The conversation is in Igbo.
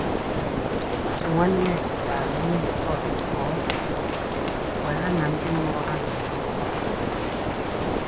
Otu nwanne chetaara onye nke ọzọ ka ọ dị jụụ mgbe ha na ndị mụrụ ha na-enwe nghọtahie.